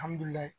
Alihamdulilayi